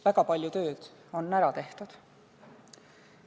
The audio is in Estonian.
Väga palju tööd on ära tehtud.